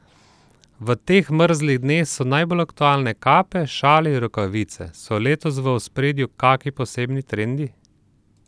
V teh mrzlih dneh so najbolj aktualne kape, šali in rokavice, so letos v ospredju kaki posebni trendi?